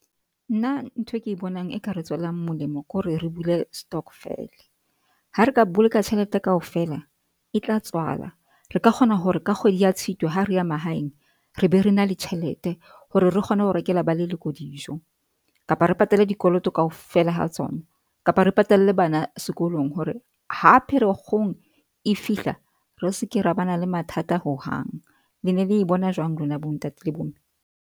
Nna nthwe ke bonang e ka re tswelang molemo ke hore re bule stokvel. Ha re ka boloka tjhelete kaofela e tla tswala. Re ka kgona hore ka kgwedi ya Tshitwe ha re ya mahaeng re be re na le tjhelete, hore re kgone ho rekela ba leloko dijo kapa re patale dikoloto kaofela ha tsona kapa re patalle bana sekolong. Hore ha Pherekgong e fihla, re se ke ra ba na le mathata hohang. Le ne le e bona jwang lona bo ntate le bo mme?